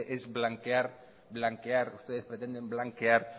es blanquear ustedes pretenden blanquear